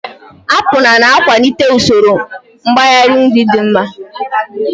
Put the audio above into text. Apụlu na-akwalite usoro mgbari nri dị mma.